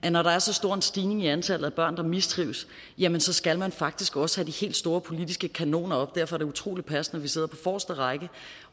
at når der er så stor en stigning i antallet af børn der mistrives jamen så skal man faktisk også have de helt store politiske kanoner op derfor er det utrolig passende at vi sidder på forreste række